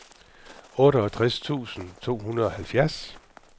otteogtres tusind to hundrede og halvfjerds